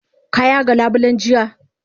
Ka yaga labulen jiya?